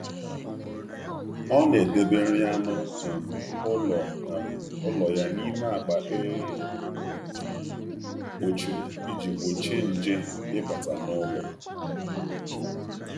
Ọ na-edebe nri anụ ụlọ ya n’ime akpa e kpochiri iji gbochie nje ịbata n’ụlọ.